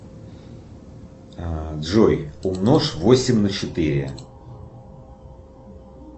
джой умножь восемь на четыре